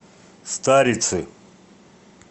старицы